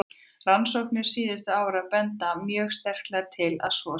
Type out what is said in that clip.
Rannsóknir síðustu ára benda mjög sterklega til að svo sé.